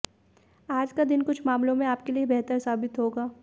आज का दिन कुछ मामलों में आपके लिए बेहतर साबित होगा